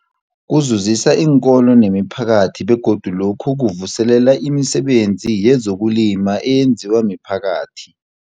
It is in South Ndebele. Kuzuzisa iinkolo nemiphakathi begodu lokhu kuvuselela imisebenzi yezokulima eyenziwa miphakathi.